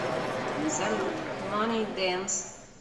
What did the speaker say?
салют мани дэнс